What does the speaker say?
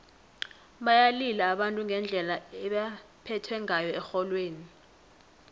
bayalila abantu ngendlela ebebaphethwe ngayo erholweni